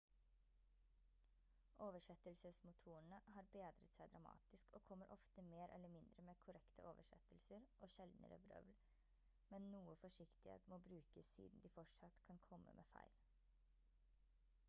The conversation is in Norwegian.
oversettelsesmotorene har bedret seg dramatisk og kommer ofte mer eller mindre med korrekte oversettelser og sjeldnere vrøvl men noe forsiktighet må brukes siden de fortsatt kan komme med feil